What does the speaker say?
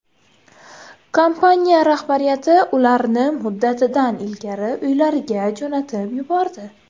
Kompaniya rahbariyati ularni muddatidan ilgari uylariga jo‘natib yubordi.